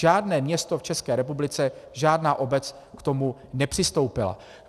Žádné město v České republice, žádná obec k tomu nepřistoupila.